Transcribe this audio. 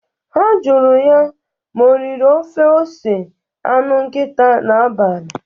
Ha jụrụ ya ma o riri ofe ose anụ nkita n'abalị.